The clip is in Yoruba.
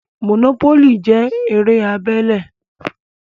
Mònópólì jẹ́ eré abẹ́lé